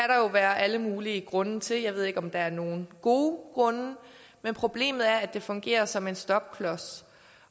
være alle mulige grunde til jeg ved ikke om der er nogen gode grunde men problemet er at det fungerer som en stopklods